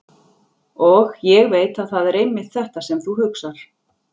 Og ég veit að það er einmitt þetta sem þú hugsar.